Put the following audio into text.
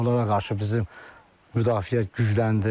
Onlara qarşı bizim müdafiə gücləndi.